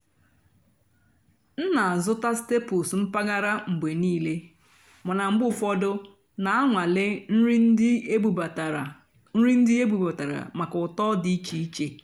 m nà-àzụ́tá stàplés mpàgàrà mgbe níìlé màná mgbe ụ́fọ̀dụ́ nà-ànwàlé nrì ndí ébúbátàrá nrì ndí ébúbátàrá màkà ụ́tọ́ dì íché íché.